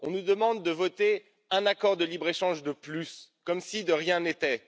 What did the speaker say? On nous demande de voter un accord de libre échange de plus, comme si de rien n'était.